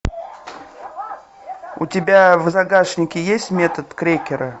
у тебя в загашнике есть метод крекера